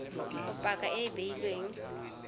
go paka e e beilweng